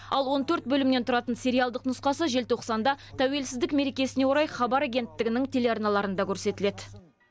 ал он төрт бөлімнен тұратын сериалдық нұсқасы желтоқсанда тәуелсіздік мерекесіне орай хабар агенттігінің телеарналарында көрсетіледі